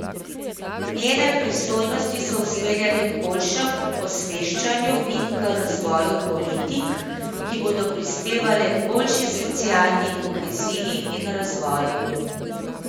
Njene pristojnosti so usmerjene k boljšemu osveščanju in k razvoju politik, ki bodo prispevale k boljši socialni koheziji in razvoju.